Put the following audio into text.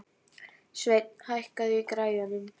Sveinn, hækkaðu í græjunum.